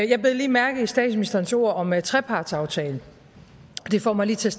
jeg bed lige mærke i statsministerens ord om trepartsaftalen det får mig til